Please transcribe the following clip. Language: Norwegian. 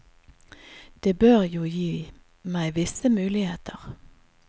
Det bør jo gi meg visse muligheter.